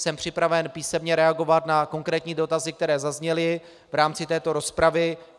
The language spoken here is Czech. Jsem připraven písemně reagovat na konkrétní dotazy, které zazněly v rámci této rozpravy.